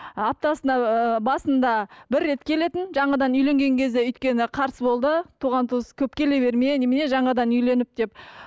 аптасына ы басында бір рет келетін жаңадан үйленген кезде өйткені қарсы болды туған туыс көп келе берме немене жаңадан үйленіп деп